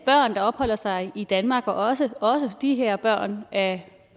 børn der opholder sig i danmark og også de her børn af